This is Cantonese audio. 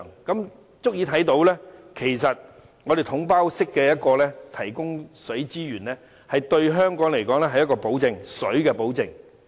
這足以看到"統包總額"式提供水資源對香港來說是水的保證。